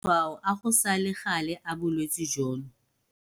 Matshwao a go sa le gale a bolwetse jono -